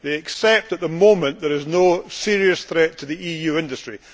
They accept that at the moment, there is no serious threat to the EU industry.